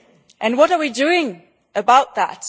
And what are we doing about that?